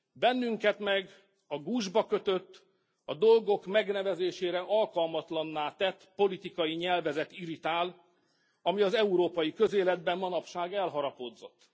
Bennünket meg a gúzsba kötött, a dolgok megnevezésére alkalmatlanná tett politikai nyelvezet irritál, ami az európai közéletben manapság elharapódzott.